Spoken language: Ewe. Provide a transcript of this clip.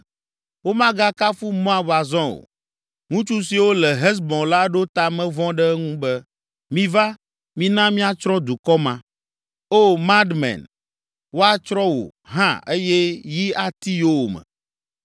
Womagakafu Moab azɔ o, ŋutsu siwo le Hesbon la ɖo ta me vɔ̃ ɖe eŋu be, ‘Miva, mina míatsrɔ̃ dukɔ ma.’ O, Madmen, woatsrɔ̃ wò hã eye yi ati yowòme.